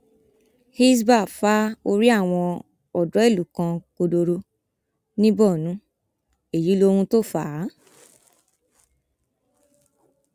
hisbah fa orí àwọn odò ìlú kan kọdọrọ ní borno èyí lohun tó fà á